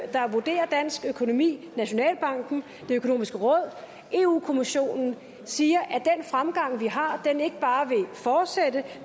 der vurderer dansk økonomi nationalbanken det økonomiske råd europa kommissionen siger at den fremgang vi har ikke bare vil fortsætte